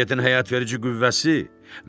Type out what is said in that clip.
Təbiətin həyatverici qüvvəsi